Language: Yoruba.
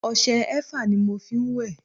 ọṣẹ eva ni mo fí n wẹ̀